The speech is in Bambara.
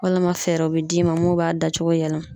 Walama fɛɛrɛw bɛ d'i ma mun b'a dacogo yɛlɛma.